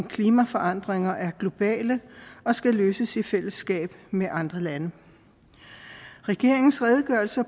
klimaforandringer er globale og skal løses i fællesskab med andre lande regeringens redegørelse